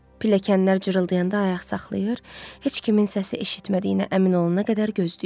Pilləkənlər cırıltıyanda ayaq saxlayır, heç kimin səsi eşitmədiyinə əmin olana qədər gözləyirdi.